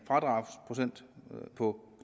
fradragsprocent på